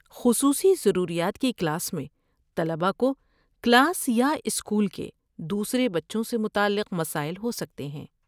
خصوصی ضروریات کی کلاس میں طلباء کو کلاس یا اسکول کے دوسرے بچوں سے متعلق مسائل ہو سکتے ہیں۔